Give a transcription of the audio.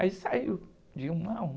Aí saiu de uma a uma.